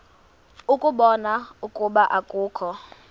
ukubona ukuba akukho